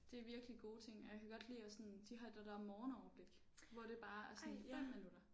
Det er virkelig gode ting og jeg kan godt lide at sådan de har det der morgenoverblik hvor det bare er sådan 5 minutter